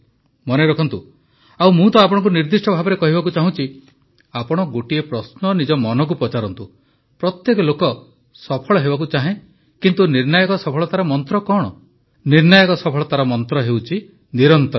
ମନେ ରଖନ୍ତୁ ଆଉ ମୁଁ ତ ଆପଣଙ୍କୁ ନିର୍ଦ୍ଦିଷ୍ଟ ଭାବେ କହିବାକୁ ଚାହୁଁଛି ଆପଣ ଗୋଟିଏ ପ୍ରଶ୍ନ ନିଜ ମନକୁ ପଚାରନ୍ତୁ ପ୍ରତ୍ୟେକ ଲୋକ ସଫଳ ହେବାକୁ ଚାହେଁ କିନ୍ତୁ ନିର୍ଣ୍ଣାୟକ ସଫଳତାର ମନ୍ତ୍ର କଣ ନିର୍ଣ୍ଣାୟକ ସଫଳତାର ମନ୍ତ୍ର ହେଉଛି ନିରନ୍ତରତା